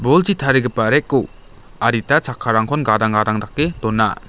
bolchi tarigipa rack-o adita chakkarangkon gadang gadang dake dona.